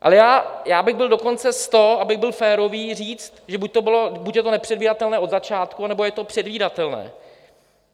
Ale já bych byl dokonce s to, abych byl férový, říct, že buď je to nepředvídatelné od začátku, anebo je to předvídatelné.